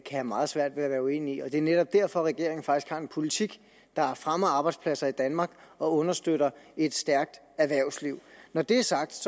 have meget svært ved at være uenig i det er netop derfor regeringen faktisk har en politik der fremmer arbejdspladser i danmark og understøtter et stærkt erhvervsliv når det er sagt